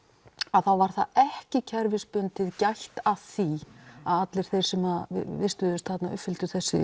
þá var ekki kerfisbundið gætt að því að allir þeir sem vistuðust þarna uppfylltu þessi